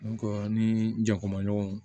an ni jɛkuma ɲɔgɔnw